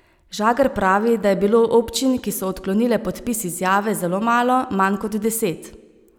Žagar pravi, da je bilo občin, ki so odklonile podpis izjave, zelo malo, manj kot deset.